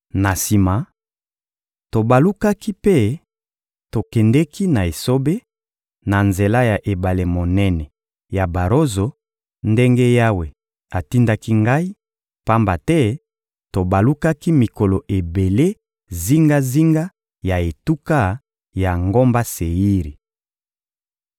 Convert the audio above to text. Na sima, tobalukaki mpe tokendeki na esobe, na nzela ya ebale monene ya Barozo ndenge Yawe atindaki ngai, pamba te tobalukaki mikolo ebele zingazinga ya etuka ya ngomba Seiri.